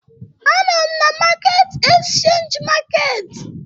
Anọ m na Market Exchange Market